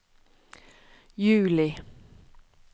juli